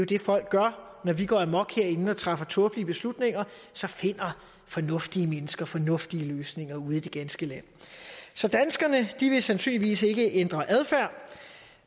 det folk gør når vi går amok herinde og træffer tåbelige beslutninger så finder fornuftige mennesker fornuftige løsninger ude i det ganske land så danskerne vil sandsynligvis ikke ændre adfærd